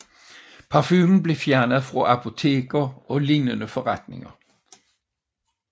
Parfumen blev fjernet fra apoteker og lignende forretninger